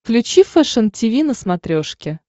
включи фэшен тиви на смотрешке